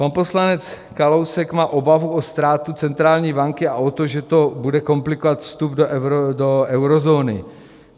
Pan poslanec Kalousek má obavu o ztrátu centrální banky a o to, že to bude komplikovat vstup do eurozóny.